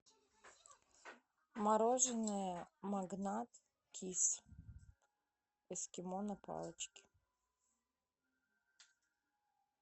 мороженое магнат кис эскимо на палочке